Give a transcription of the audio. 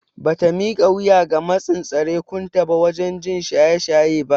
Bata mika wuya ga matsin tsarekunta ba waje jin shaye shaye ba.